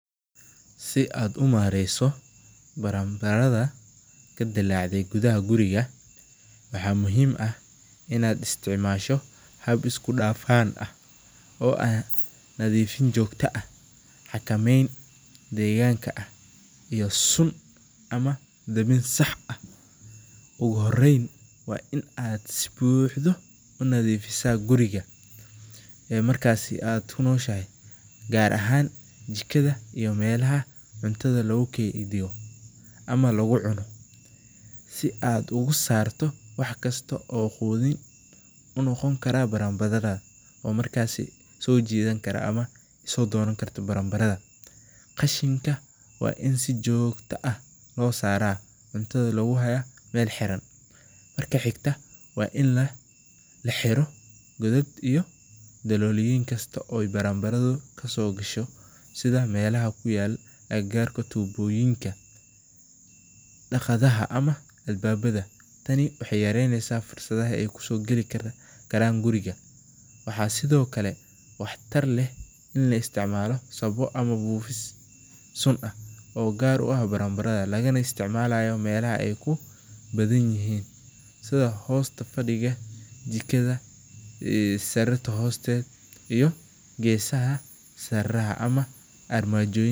Si aad umareyso baranbarada, waaxa muhiim ah nadiifin joogta ah, ama dabin sax ah, waa inaad si buuxdo unadifisa gudaha guriga, si aad ugu saarto wax kasta oo qudin unoqon kara baranbarada, markaasi aay soo doonan karto, marka xigta waa in laxiro godad kasto, daqadaha, tani waxeey yareyneysa fursada aay kusoo gali karto gudaha, lagana isticmaalo meelaha aay kubadan yihiin sida jikada.